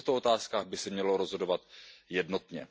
I v těchto otázkách by se mělo rozhodovat jednotně.